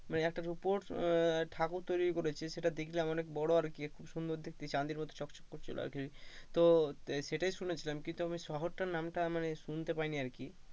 একটা রুপোর উম ঠাকুর তৈরী করেছে সেটা দেখলাম অনেক বড়ো আর কি খুব সুন্দর দেখতে চাঁদির মতো চকচক করছিলো আর কি তো সেইটাই শুনেছিলাম কিন্তু আমি শহরটার নামটা শুনতে পাই নি আর কি,